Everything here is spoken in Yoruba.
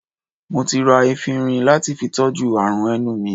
Mo ti ra efinrin lati fi tọ́jú àrùn ẹnu mi